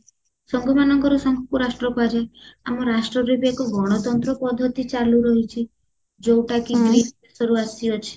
ସଂଘ ମାନଙ୍କରେ ସଂଘକୁ ରାଷ୍ଟ୍ର କୁହାଯାଏ ଆମ ରାଷ୍ଟ୍ରରେ ବି ଏକ ଗଣତନ୍ତ୍ର ପଦ୍ଧତି ଚାଲୁ ରହିଚି ଯୋଉଟା କି ଆସି ଅଛି